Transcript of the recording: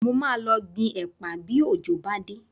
Mo máa lọ gbin ẹ̀pà bí òjò bá dá